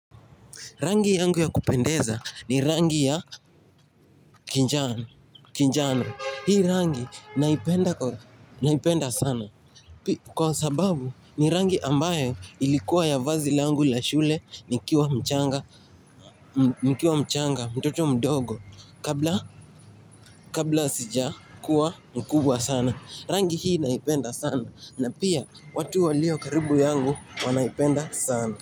Rangi yangu ya kupendeza ni rangi ya kinjana, kinjana, hii rangi naipenda sana, kwa sababu ni rangi ambayo ilikuwa ya vazi langu la shule nikiwa mchanga nikiwa mchanga, mtoto mdogo, kabla sija kuwa mkubwa sana. Rangi hii naipenda sana, na pia watu walio karibu yangu wanaipenda sana.